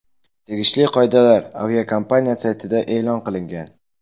Tegishli qoidalar aviakompaniya saytida e’lon qilingan.